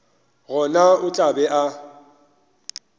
gona o tla be a